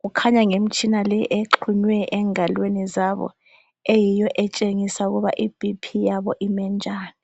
kukhanya ngemitshina le exunywe engalweni zabo eyiyo etshengisa ukuba i BP yabo imi njani.